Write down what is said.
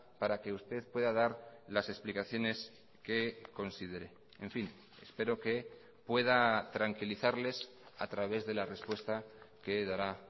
para que usted pueda dar las explicaciones que considere en fin espero que pueda tranquilizarles a través de la respuesta que dará